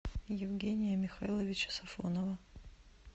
евгения михайловича сафонова